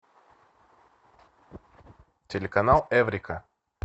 телеканал эврика